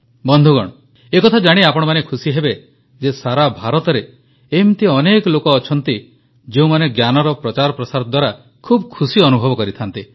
ବନ୍ଧୁଗଣ ଏ କଥା ଜାଣି ଆପଣମାନେ ଖୁସି ହେବେ ଯେ ସାରା ଭାରତରେ ଏମିତି ଅନେକ ଲୋକ ଅଛନ୍ତି ଯେଉଁମାନେ ଜ୍ଞାନର ପ୍ରଚାର ପ୍ରସାର ଦ୍ୱାରା ଖୁବ ଖୁସି ଅନୁଭବ କରିଥାନ୍ତି